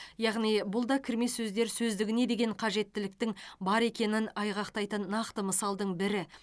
яғни бұл да кірме сөздер сөздігіне деген қажеттіліктің бар екенін айғақтайтын нақты мысалдың бірі